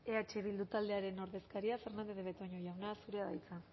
eh bildu taldearen ordezkaria fernandez de betoño jauna zurea da hitza